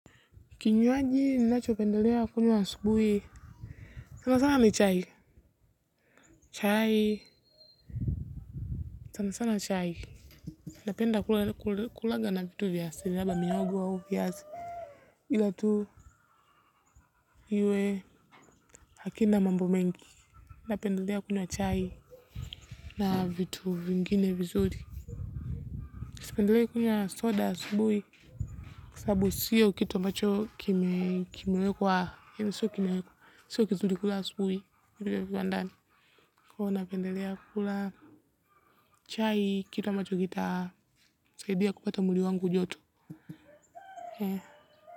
Kinywaji ni nacho pendelea kunywa asubuhi sana sana ni chai. Napenda kulaga na vitu vyas asili ila iwe hakina mambo mengi. Napendelea kunywa chai. Na vitu vingine vizuri. Kisipendelea kwenye wa soda asubuhi. Kwa sababu sio kitu ambacho kimewekwa sio kizuri kunywa asubuhi. Kwa huo napendelea kula chai kita macho kita Saidia kupata mwili wangu joto.